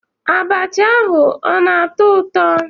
Abacha ahu o na-atọ ụtọ?